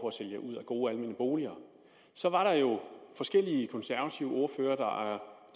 at sælge ud af gode almene boliger så var der jo forskellige konservative ordførere